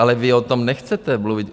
Ale vy o tom nechcete mluvit.